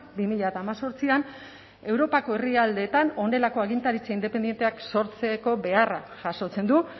bi mila hemezortzian europako herrialdeetan honelako agintaritza independenteak sortzeko beharra jasotzen du